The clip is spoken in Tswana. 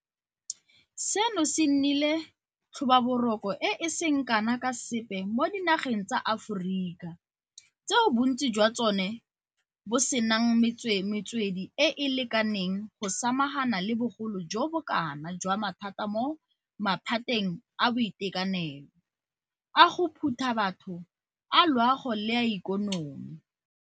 Seno e nnile tlhobaboroko e e seng kana ka sepe mo dinageng tsa Aforika tseo bontsi jwa tsone bo senang metswedi e e lekaneng go samagana le bogolo jo bo kana jwa mathata mo maphateng a boitekanelo, a go phuta batho, a loago le a ikonomi.